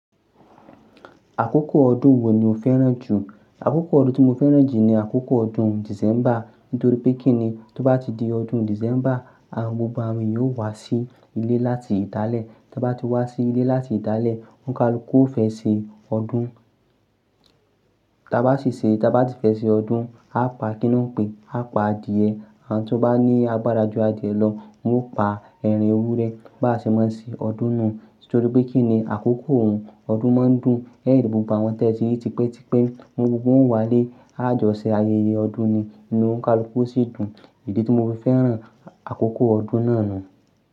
Àkókò ọdún wo ni o fẹ́ràn jù? Àkókò ọdún tí mo fẹ́ràn jù ni àkókò ọdún December, nítorí pé kí ni tó bá ti di ọdún December, àwọn gbogbo àwọn yóò wá sí ilé láti ìdalẹ̀. Tí wọ́n bá ti wá sí ilé láti ìdalẹ̀, onikálukù yo fẹ́ ṣe ọdún. Tí a bá sì ṣe, tí a bá si fẹ́ ṣe ọdún, a pa kí ni wọ́n ń pe, a pa adìẹ. Àwon tí o bá ní agbára ju adìẹ lọ, wọn yóò pa ẹran ewúrẹ́. Bá ṣe máa ṣe ọdún nu. Nítorí pé kí ni àkókò un, ọdún máa ń dùn. Lẹ́yìn tí gbogbo àwọn tẹ́ẹ ti ri tipe tipe, nwọn gbogbo wọn o wá lé, a jọ ṣe ayẹyẹ ọdún ni, inú onkálukù yo sì dùn. Idí tí mo fi fẹ́ràn àkókò ọdún náà nu.